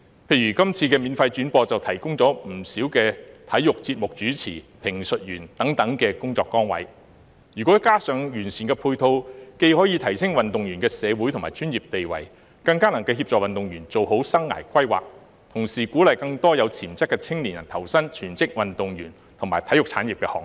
例如今次免費轉播，就提供了不少體育節目主持、評述員等工作崗位，如果加上完善的配套，既可以提升運動員的社會和專業地位，更能協助運動員做好生涯規劃，同時鼓勵更多有潛質的青年人投身全職運動員和體育產業的行列。